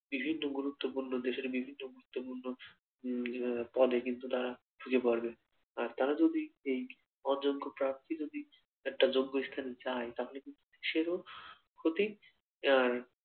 বিভিন্ন গুরুত্বপূর্ণ দেশের বিভিন্ন গুরুত্বপূর্ণ উম আহ পদে কিন্তু তারা সুযোগ বাড়বে আর তারা যদি এই অযোগ্য প্রার্থী যদি একটা যোগ্য স্থানে যায় তাহলে কিন্তু দেশেরও ক্ষতি আর